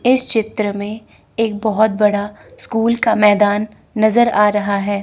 इस चित्र में एक बहोत बड़ा स्कूल का मैदान नज़र आ रहा है।